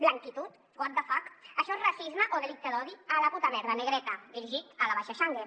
blanquitud what the fuck això és racisme o delicte d’odi a la puta merda negreta dirigit a la basha changue